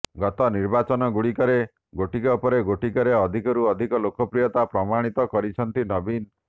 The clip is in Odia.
ଗତ ନିର୍ବାଚନଗୁଡ଼ିକରେ ଗୋଟିକ ପରେ ଗୋଟିକରେ ଅଧିକରୁ ଅଧିକ ଲୋକପ୍ରିୟତା ପ୍ରମାଣିତ କରିଛନ୍ତି ନବୀନ